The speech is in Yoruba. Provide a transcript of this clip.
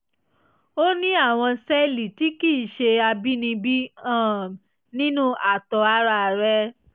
o ní àwọn sẹ́ẹ̀lì tí kì í í ṣe àbínibí um nínú àtọ̀ ara rẹ